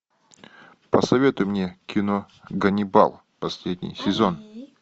посоветуй мне кино ганнибал последний сезон